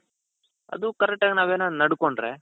ಅದು correct ಆಗಿ ನಾವೇನಾದ್ರು ನಡ್ಕೊಂಡ್ರೆ,